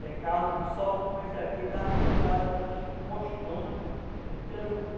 Secava em um sol como esse aqui, estava pendurado aquelas postonas de pirarucu.